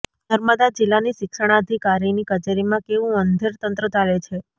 નર્મદા જિલ્લાની શિક્ષણાધિકારીની કચેરીમાં કેવું અંધેર તંત્ર ચાલે છે